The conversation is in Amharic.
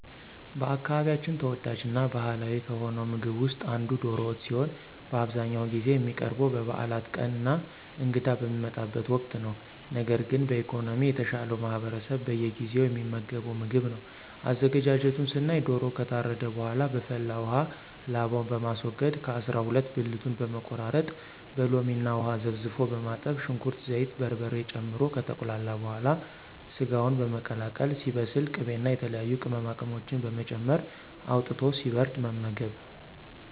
በአካባቢያችን ተወዳጅ እና ባህላዊ ከሆነው ምግብ ውስጥ አንዱ ዶሮ ወጥ ሲሆን በአብዛኛውን ጊዜ የሚቀርበው በበዓላት ቀን እና እንግዳ በሚመጣበት ወቅት ነው። ነገር ግን በኢኮኖሚ የተሻለው ማህበረሰብ በየጊዜው የሚመገበው ምግብ ነው። አዘገጃጀቱን ስናይ ዶሮው ከታረደ በኃላ በፈላ ውሃ ላባውን በማስወገድ ከ አሰራ ሁለት ብልቱን በመቆራረጥ በሎሚ እና ውሃ ዘፍዝፎ በማጠብ ሽንኩርት፣ ዘይት፣ በርበሬ ጨምሮ ከተቁላላ በኃላ ሰጋውን በመቀላቀል ሲበስል ቅቤ እና የተለያዩ ቅመማቅመሞችን በመጨመር አውጥቶ ሲበርድ መመገብ።